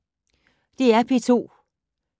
DR P2